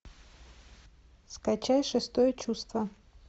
скачай шестое чувство